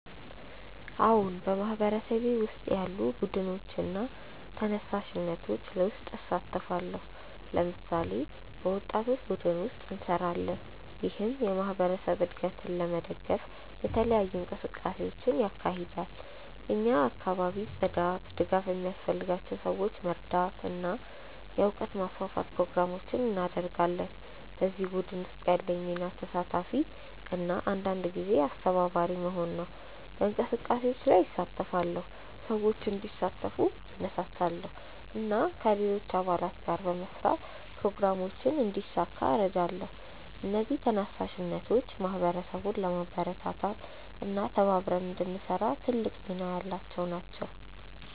አዎን፣ በማህበረሰቤ ውስጥ ያሉ ቡድኖችና ተነሳሽነቶች ውስጥ እሳተፋለሁ። ለምሳሌ፣ በወጣቶች ቡድን ውስጥ እንሰራለን፣ ይህም የማህበረሰብ እድገትን ለመደገፍ የተለያዩ እንቅስቃሴዎችን ያካሂዳል። እኛ የአካባቢ ጽዳት፣ ድጋፍ ለሚያስፈልጋቸው ሰዎች መርዳት እና የእውቀት ማስፋፋት ፕሮግራሞችን እናደርጋለን። በዚህ ቡድን ውስጥ ያለኝ ሚና ተሳታፊ እና አንዳንድ ጊዜ አስተባባሪ መሆን ነው። በእንቅስቃሴዎች ላይ እሳተፋለሁ፣ ሰዎችን እንዲሳተፉ እነሳሳለሁ እና ከሌሎች አባላት ጋር በመስራት ፕሮግራሞችን እንዲሳካ እረዳለሁ። እነዚህ ተነሳሽነቶች ማህበረሰቡን ለማበረታታት እና ተባብረን እንድንሰራ ትልቅ ሚና ያላቸው ናቸው።